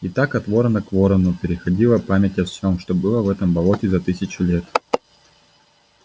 и так от ворона к ворону переходила память о всем что было в этом болоте за тысячу лет